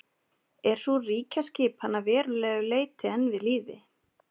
Er sú ríkjaskipan að verulegu leyti enn við lýði.